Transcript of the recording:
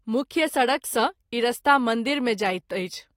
मुख्य सड़क सँ ई रास्ता मंदिर मे जाइत अछि।